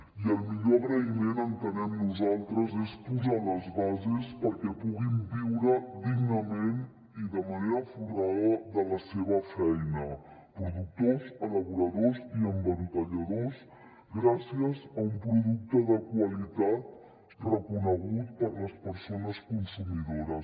i el millor agraïment entenem nosaltres és posar les bases perquè puguin viure dignament i de manera folgada de la seva feina productors elaboradors i embotelladors gràcies a un producte de qualitat reconegut per les persones consumidores